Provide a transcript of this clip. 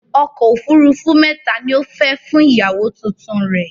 Ọkọ̀ òfurufú mẹ́ta ni ó fẹ́ fún ìyàwó tuntun rẹ̀